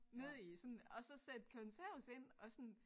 Nede i sådan og så sætte konserves ind og sådan